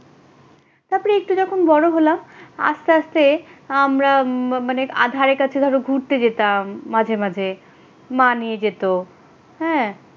যে রকম বড় হলাম আস্তে আস্তে আমরা ম মানে আধারে কাছে ধরো ঘুরতে যেতাম মাঝে মাঝে। মা নিয়ে যেত হ্যাঁ,